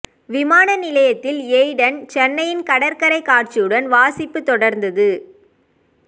விமான நிலையத்தில் ஏய்டன் சென்னையின் கடற்கரை காட்சியுடன் வாசிப்பு தொடர்ந்தது